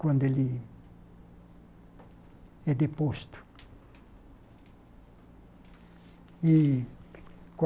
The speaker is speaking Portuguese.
Quando ele é deposto. E